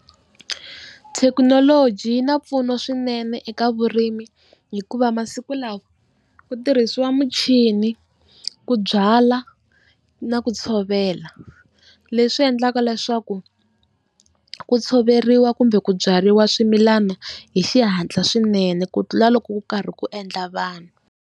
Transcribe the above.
Thekinoloji yi na mpfuno swinene eka vurimi hikuva masiku lawa ku tirhisiwa muchini, ku byala na ku byala tshovela. Leswi endlaka leswaku ku tshoveriwa kumbe ku byariwa swimilana hi xihatla swinene ku tlula loko ku karhi ku endla vanhu.